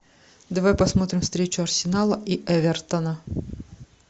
давай посмотрим встречу арсенала и эвертона